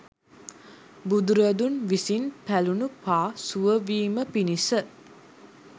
බුදුරදුන් විසින් පැළුන පා සුව වීම පිණිස